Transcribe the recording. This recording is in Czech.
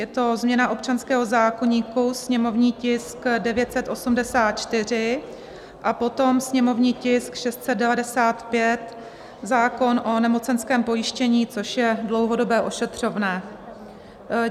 Je to změna občanského zákoníku, sněmovní tisk 984; a potom sněmovní tisk 695, zákon o nemocenském pojištění, což je dlouhodobé ošetřovné.